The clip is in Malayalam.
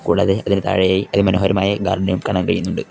കൂടാതെ അതിന് താഴെയായി അതി മനോഹരമായ ഗാർഡനും കാണാൻ കഴിയുന്നുണ്ട്.